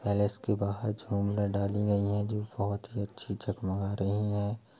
Palace के बाहर डाली हुई है जो बहुत ही अच्छी जगमगा रही है।